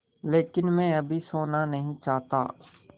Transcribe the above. लेकिन मैं अभी सोना नहीं चाहता